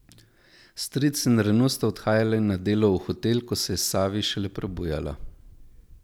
Stric in Renu sta odhajala na delo v hotel, ko se je Savi šele prebujala.